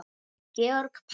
Georg Páll.